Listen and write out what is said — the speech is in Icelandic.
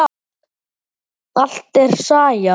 Allt er saga.